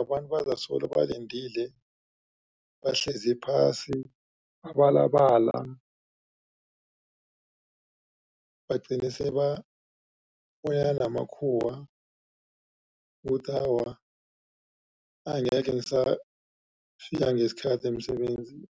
Abantu bazasolo balindile bahlezi phasi, babalabala bagcine sebafowunela namakhuwa kuthi awa angekhe ngisafika ngesikhathi emsebenzini.